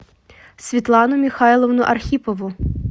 светлану михайловну архипову